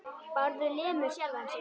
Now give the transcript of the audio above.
Bárður lemur sjálfan sig.